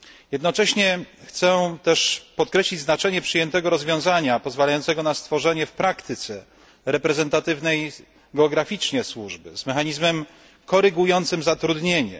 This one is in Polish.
Jednocześnie chcę też podkreślić znaczenie przyjętego rozwiązania pozwalającego na stworzenie w praktyce reprezentatywnej geograficznie służby z mechanizmem korygującym zatrudnienie.